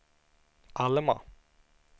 Alma